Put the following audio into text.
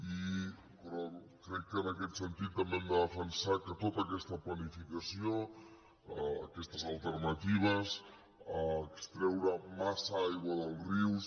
i crec que en aquest sentit també hem de defensar que tota aquesta planificació aquestes alternatives extreure massa aigua dels rius